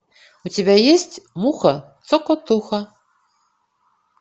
у тебя есть муха цокотуха